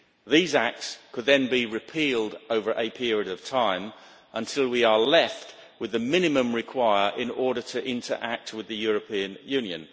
Those acts could then be repealed over a period of time until we are left with the minimum required in order to interact with the European Union.